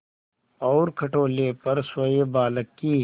और खटोले पर सोए बालक की